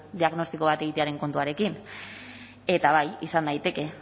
diagnostiko bat egitearen kontuarekin eta bai izan daiteke